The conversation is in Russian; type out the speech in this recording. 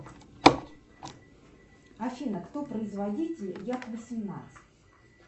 афина кто производитель як восемнадцать